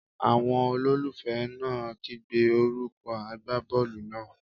Àwọn olólùfẹ́ náà ń kígbe orúkọ agbábọ́ọ̀lù náà.